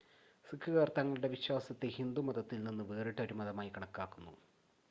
സിക്കുകാർ തങ്ങളുടെ വിശ്വാസത്തെ ഹിന്ദുമതത്തിൽ നിന്ന് വേറിട്ട ഒരു മതമായി കണക്കാക്കുന്നു